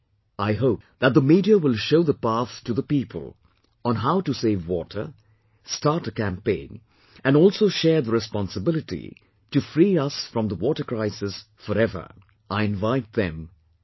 I hope that the Media will show the path to the people on how to save water, start a campaign, and also share the responsibility to free us from the water crisis forever; I invite then as well